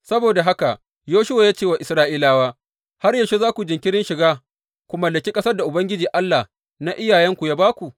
Saboda haka Yoshuwa ya ce wa Isra’ilawa, Har yaushe za ku yi jinkirin shiga, ku mallaki ƙasar da Ubangiji Allah na iyayenku ya ba ku?